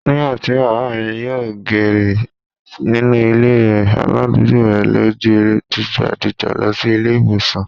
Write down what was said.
Nígbà tí Bàbá mi yòò gẹ̀rẹ̀ nínú ilé e rẹ̀, aládùúgbò rẹ̀ ló gbe dìgbà dìgbà lọ sí ilé ìwòsàn.